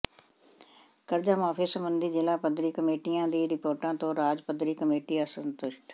ਕਰਜ਼ਾ ਮੁਆਫੀ ਸਬੰਧੀ ਜ਼ਿਲ੍ਹਾ ਪੱਧਰੀ ਕਮੇਟੀਆਂ ਦੀਆਂ ਰਿਪੋਰਟਾਂ ਤੋਂ ਰਾਜ ਪੱਧਰੀ ਕਮੇਟੀ ਅਸੰਤੁਸ਼ਟ